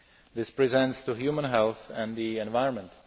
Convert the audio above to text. this presents to human health and the environment.